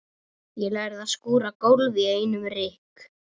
Ég lærði að skúra gólf í einum rykk.